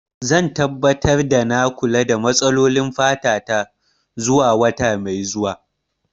Zan tabbatar da na kula da matsalolin fata ta zuwa wata mai zuwa.